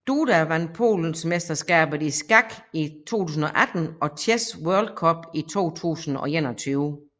Duda vand Polensmesterskabet i skak i 2018 og Chess World Cup 2021